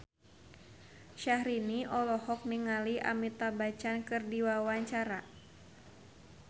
Syahrini olohok ningali Amitabh Bachchan keur diwawancara